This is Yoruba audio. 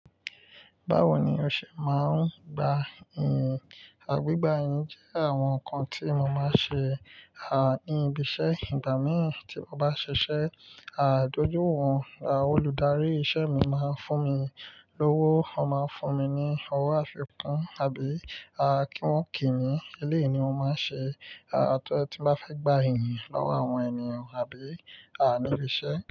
Báwo ni o ṣe máa ń gba iyìn? Àgbégbá iyin jẹ́ àwọn nǹkan tí mo máa ń ṣe, ní ibi iṣẹ́. Ìgbà mí ì tí mo bá ṣiṣẹ́, dójú wọ̀n, olùdarí iṣẹ́ mi máa ń fún mi lówó. Wọ́n máa ń fún mi ní owó àfikún àbí kí wọ́n kì mí. Eleyi ni mo máa ń ṣe, tí mo bá fẹ́ gba iyìn lọ́wọ́ àwọn ènìyàn àbí, ní ibi iṣẹ́